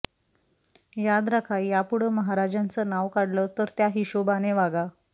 याद राखा यापुढं महाराजांचं नाव काढलं तर त्या हिशोबाने वागा